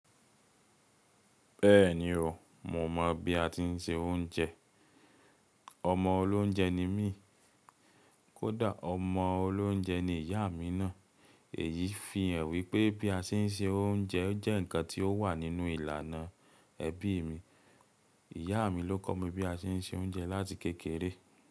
Bẹ́ẹ̀ni o, mo mọ̀ bí a ti ń se oúnjẹ. Ọmọ olóúnjẹ ni mí, kódà ọmọ olóúnjẹ ni ìyá mi náa. Èyí fi hàn wípé bí a ṣe ń se òúnjẹ jẹ́ ǹkan tí ó wà nínú ìlànà ẹbí mi. Ìyá mi ló kọ́ mi bí a ṣe ń se oúnjẹ láti kékeré.